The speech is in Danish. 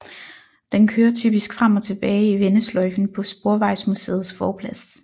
Den kører typisk frem og tilbage i vendesløjfen på Sporvejsmuseets forplads